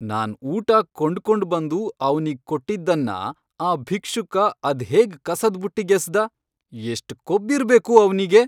ನಾನ್ ಊಟ ಕೊಂಡ್ಕೊಂಡ್ ಬಂದು ಅವ್ನಿಗ್ ಕೊಟ್ಟಿದ್ದನ್ನ ಆ ಭಿಕ್ಷುಕ ಅದ್ಹೇಗ್ ಕಸದ್ಬುಟ್ಟಿಗ್ ಎಸ್ದ, ಎಷ್ಟ್ ಕೊಬ್ಬಿರ್ಬೇಕು ಅವ್ನಿಗೆ!